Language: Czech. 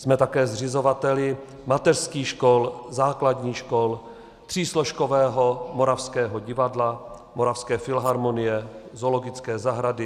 Jsme také zřizovateli mateřských škol, základních škol, třísložkového Moravského divadla, Moravské filharmonie, Zoologické zahrady.